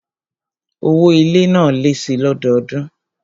Owó ilé náà lé síi lọ́dọọdún